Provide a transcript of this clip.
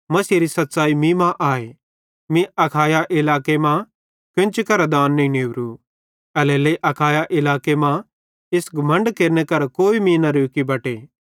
मसीहेरी सच़्च़ाई मीं मां आए मीं अखाया इलाके मां कोन्ची करां दान नईं नेवरू एल्हेरेलेइ अखाया इलाके मां इस घमण्डे केरने करां कोई मीं न रोकी बटे